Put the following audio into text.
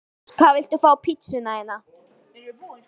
Kartöflumús Hvað vilt þú fá á pizzuna þína?